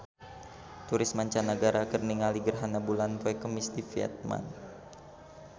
Turis mancanagara keur ningali gerhana bulan poe Kemis di Vietman